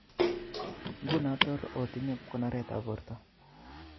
Ngunon Tor otinye konoretab borto